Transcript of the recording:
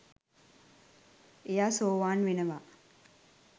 එයා සෝවාන් වෙනවා